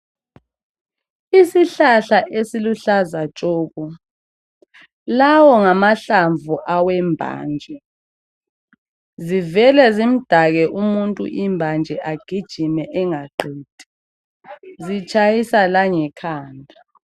Isihlahla esiluhlaza tshoko lawo ngamahlanvu awembanje zivele zimdake umuntu imbanje agijime engaqedi. Zitshayisa langekhanda.